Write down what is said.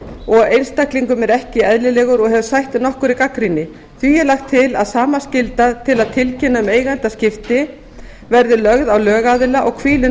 og einstaklingum er ekki eðlilegur og hefur sætt nokkurri gagnrýni því er lagt til að sama skylda til að tilkynna um eigendaskipti verði lögð á lögaðila og hvílir